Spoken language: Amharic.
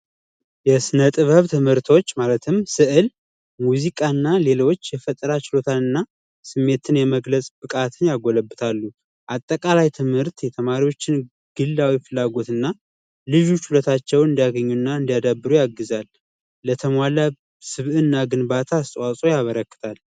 የስነጥበብ ትምህርቶች ማለትም ስዕል ሙዚቃና ሌሎች የፈጠራ ችሎታና ስሜትን የመግለጽ ብቃት ያጎለብታሉ አጠቃላይ ትምህርት የተማሪዎችን ግላ ፍላጎትና ልጆቻቸውን እንዲያገኙ እና እንዲያዳብሩ ያግዛል ለተሟላ ግንባታ ያበረከታል።